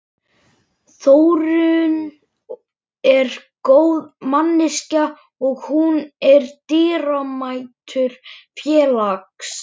Þórunn er góð manneskja, og hún er dýrmætur félags